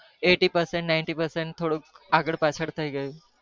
Eighty percent થોડુંક આગણ પાછ્ડ થઈ ગયું